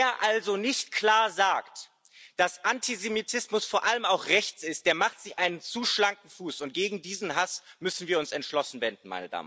Wer also nicht klar sagt, dass Antisemitismus vor allem auch rechts ist, der macht sich einen zu schlanken Fuß, und gegen diesen Hass müssen wir uns entschlossen wenden.